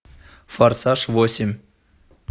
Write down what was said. форсаж восемь